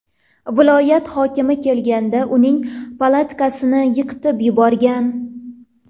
Viloyat hokimi kelganda uning palatkasini yiqitib yuborgan.